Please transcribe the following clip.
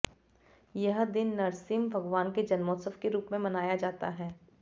यह दिन नृसिंह भगवान के जनोत्सव के रूप में मनाया जाता है